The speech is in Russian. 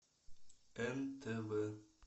нтв